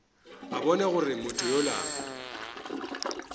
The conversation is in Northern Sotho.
a bona gore motho yola